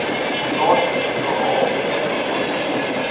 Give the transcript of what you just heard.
plaaslik bepaal ingevorder